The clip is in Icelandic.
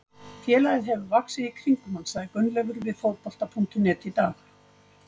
Félagið hefur vaxið í kringum hann, sagði Gunnleifur við Fótbolta.net í dag.